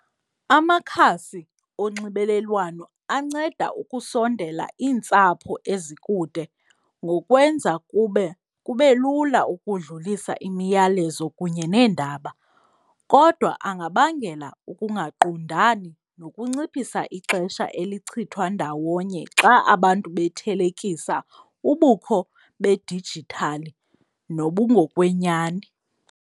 Amakhasi onxibelelwano anceda ukusondela iintsapho ezikude ngokwenza kube, kube lula ukudlulisa imiyalezo kunye neendaba, kodwa angabangela ukungaqondani nokunciphisa ixesha elichithwa ndawonye xa abantu bethelekisa ubukho bedijithali nobungokwenyani.